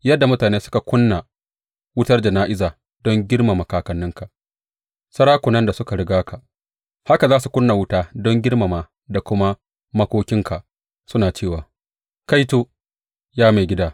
Yadda mutane suka ƙuna wutar jana’iza don girmama kakanninka, sarakunan da suka riga ka, haka za su ƙuna wuta don girmama da kuma makokinka suna cewa, Kaito, ya maigida!